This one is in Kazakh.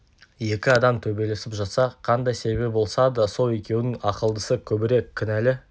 екі адам төбелесіп жатса қандай себебі болса да сол екеудің ақылдысы көбірек кінәлі